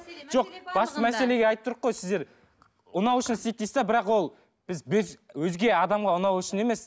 жоқ басты мәселеге айтып қой сіздер ұнау үшін істейді дейсіз де бірақ ол біз өзге адамға ұнау үшін емес